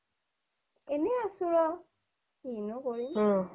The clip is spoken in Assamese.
এনেই আছোঁ আৰু কিনো কৰিম